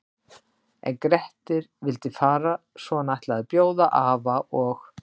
En Grettir vildi fara svo hann ætlaði að bjóða afa og